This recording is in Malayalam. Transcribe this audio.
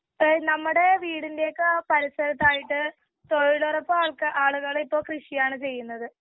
ഇപ്പ നമ്മുടെ വീടിന്റയൊക്കെ പരിസരത്തായിട്ട് തൊഴിലുറപ്പ് ആളുകള് ഇപ്പൊ കൃഷിയാണ് ചെയ്യുന്നത്.